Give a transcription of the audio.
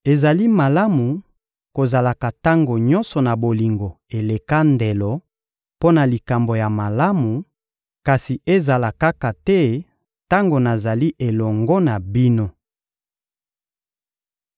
Ezali malamu kozalaka tango nyonso na bolingo eleka ndelo mpo na likambo ya malamu, kasi ezala kaka te tango nazali elongo na bino.